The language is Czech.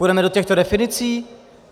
Půjdeme do těchto definicí?